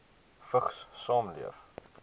vigs saamleef